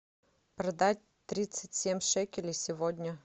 продать тридцать семь шекелей сегодня